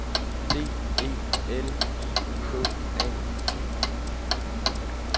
D E L I K A T